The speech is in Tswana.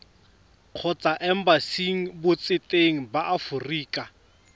kgotsa embasing botseteng ba aforika